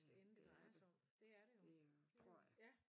Ja det er det det øh tror jeg